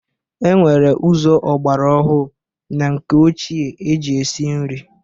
E nwere ụzọ ọgbara ọhụ na nke ochie eji esi nri.